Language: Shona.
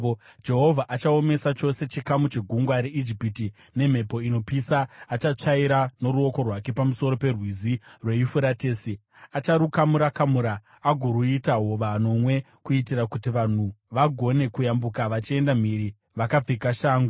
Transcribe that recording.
Jehovha achaomesa chose chikamu chegungwa reIjipiti; nemhepo inopisa achatsvaira noruoko rwake pamusoro peRwizi rweYufuratesi. Acharukamura-kamura agoruita hova nomwe, kuitira kuti vanhu vagone kuyambuka vachienda mhiri vakapfeka shangu.